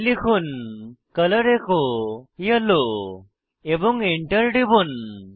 তাই লিখুন colour echo yellow এবং Enter টিপুন